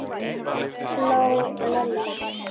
hló Lilla.